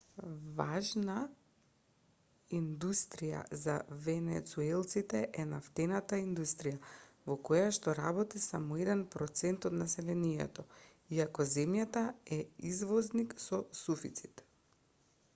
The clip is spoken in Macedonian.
важна индустрија за венецуелците е нафтената индустрија во којашто работи само еден процент од населението иако земјата е извозник со суфицит